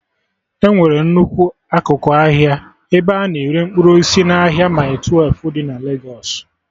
Enwere nnukwu akụkụ ahịa ebe a na-ere mkpụrụ osisi n'ahịa mịle twelfụ dị na Legos